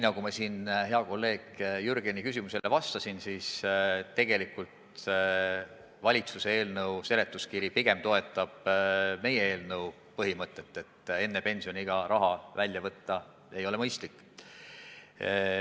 Nagu ma hea kolleegi Jürgeni küsimusele vastasin, tegelikult valitsuse eelnõu seletuskiri pigem toetab meie eelnõu põhimõtet, et enne pensioniiga raha välja võtta ei ole mõistlik.